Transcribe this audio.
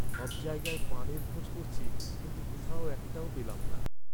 সব জায়গায় পানের খোঁজ করেছি কিন্তু কোথাও একটাও পেলাম না।